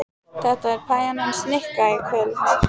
Þetta er pæjan hans Nikka í kvöld.